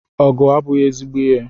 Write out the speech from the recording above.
Ọgụ abụghị ezigbo ihe.